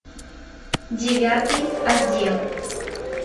девятый отдел